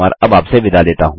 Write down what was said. हमसे जुड़ने के लिए धन्यवाद